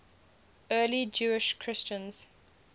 early jewish christians